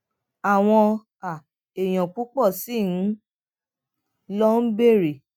àwọn um èèyàn púpò sí i ló ń béèrè